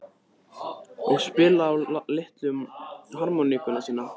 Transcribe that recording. Og spila á litlu harmónikkuna sína?